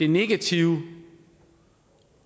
negative